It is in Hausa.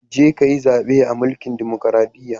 Je ka ka yi zaɓe a mlkin dumukuradiyya.